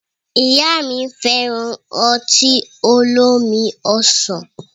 Ìyá mi fẹ́ràn ọtí olómi ọsàn.